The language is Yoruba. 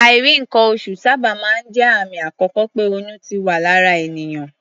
Àìrí nǹkan-oṣù sábà máa ń jẹ́ àmì àkọ́kọ́ pé oyún ti wà lára ènìyàn.